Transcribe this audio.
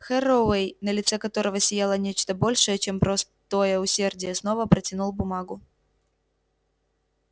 херроуэй на лице которого сияло нечто большее чем простое усердие снова протянул бумагу